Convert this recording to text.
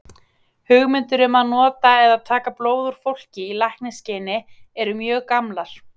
Hugmyndir um að nota eða taka blóð úr fólki í lækningaskyni eru mjög gamlar.